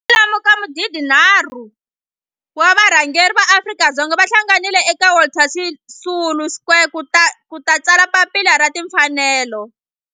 Kwalomu ka magidi nharhu wa varhangeri va maAfrika-Dzonga va hlanganile eka Walter Sisulu Square ku ta tsala Papila ra Tinfanelo.